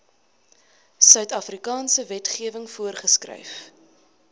suidafrikaanse wetgewing voorgeskryf